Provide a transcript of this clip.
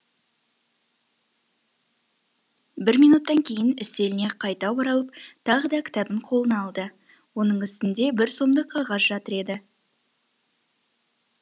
бір минуттан кейін үстеліне қайта оралып тағы да кітабын қолына алды оның үстінде бір сомдық қағаз жатыр еді